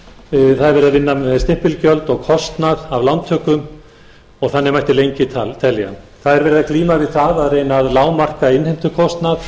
verið að vinna með stimpilgjöld og kostnað af lántöku og þannig mætti lengi telja það er verið að glíma við það að reyna að lágmarka innheimtukostnað